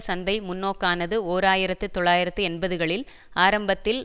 சந்தை முன்னோக்கானது ஓர் ஆயிரத்து தொள்ளாயிரத்து எண்பதுகளில் ஆரம்பத்தில்